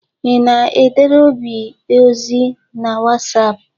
Ị na-edere Obi ozi na Wasapụ?